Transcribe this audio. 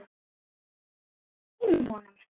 Við gleymum honum!